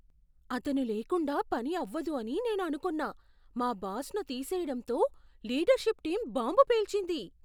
అతను లేకుండా పని అవ్వదు అని నేను అనుకొన్న మా బాస్ను తీసేయడంతో లీడర్షిప్ టీం బాంబు పేల్చింది.